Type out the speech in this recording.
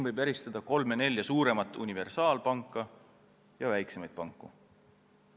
Võib eristada kolme-nelja suuremat universaalpanka ja väiksemaid panku.